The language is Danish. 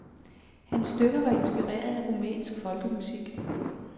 Hans stykker var inspireret af rumænsk folkemusik.